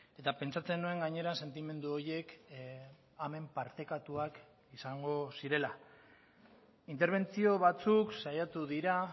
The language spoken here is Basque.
eta pentsatzen nuen gainera sentimendu horiek hemen partekatuak izango zirela interbentzio batzuk saiatu dira